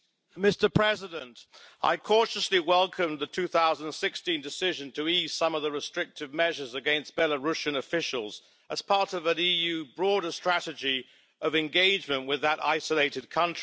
Mr President, I cautiously welcomed the 2016 decision to ease some of the restrictive measures against Belarusian officials as part of an EU broader strategy of engagement with that isolated country.